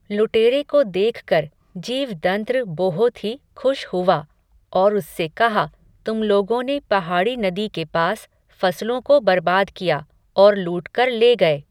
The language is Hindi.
लुटेरे को देखकर, जीवदंत्र बोहोत ही खुश हुवा, और उससे कहा, तुम लोगों ने पहाड़ी नदी के पास, फ़सलों को बरबाद किया, और लूटकर ले गये